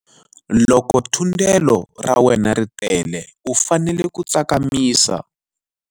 Loko thundelo ra wena ri tele u fanele ku tsakamisa.